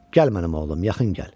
Gəl mənim oğlum, yaxın gəl.